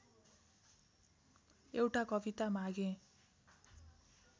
एउटा कविता मागेँ